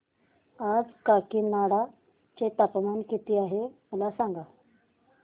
आज काकीनाडा चे तापमान किती आहे मला सांगा